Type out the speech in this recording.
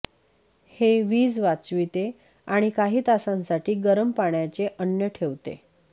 हे वीज वाचविते आणि काही तासांसाठी गरम पाण्याचे अन्न ठेवते